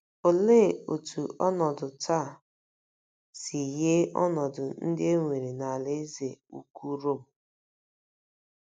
Olee otú ọnọdụ taa si yie ọnọdụ ndị e nwere n'Alaeze Ukwu Rom?